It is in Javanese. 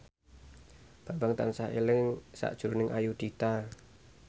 Bambang tansah eling sakjroning Ayudhita